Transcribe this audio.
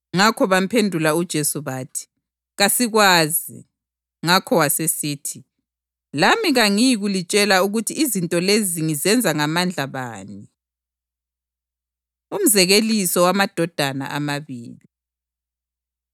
Ngakho bamphendula uJesu bathi, “Kasikwazi.” Ngakho wasesithi, “Lami kangiyikulitshela ukuthi izinto lezi ngizenza ngamandla bani.” Umzekeliso Wamadodana Amabili